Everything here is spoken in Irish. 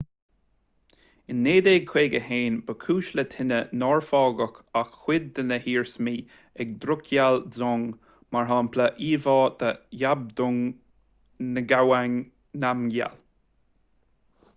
in 1951 ba chúis le tine nár fágadh ach cuid de na hiarsmaí an drukgyal dzong mar shampla íomhá de zhabdrung ngawang namgyal